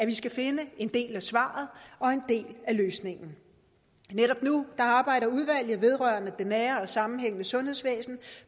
vi skal finde en del af svaret og en del af løsningen netop nu arbejder udvalget vedrørende det nære og sammenhængende sundhedsvæsen